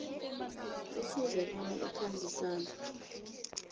kufuze bona ikhambisane